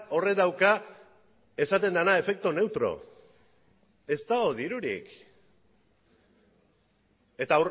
horrek dauka esaten dena efecto neutro ez dago dirurik eta